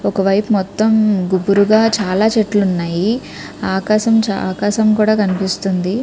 ఒక వైపు మొత్తం గుగ్గురుగా చాలా చెట్లు ఉన్నాయి. ఆకాష్ ఆకాశం కూడా కినిపిస్తోంది.